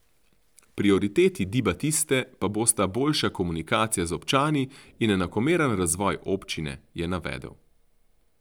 Prioriteti Di Batiste pa bosta boljša komunikacija z občani in enakomeren razvoj občine, je navedel.